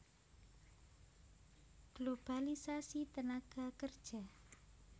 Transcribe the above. Globalisasi tenaga kerja